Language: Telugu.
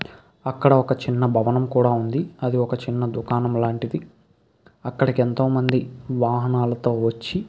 అక్కడ ఒక చిన్న భవనం కూడ ఉంది అది ఒక చిన్న దుకాణం లాంటిది అక్కడికి ఎంతోమంది వాహనాలతో వచ్చి --